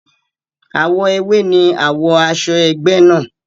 Àwọ̀ ewé ni àwo aṣọ egbe náà.